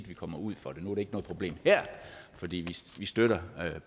vi kommer ud for det nu er problem her fordi vi støtter